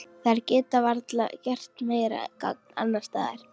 Þær geta varla gert meira gagn annars staðar.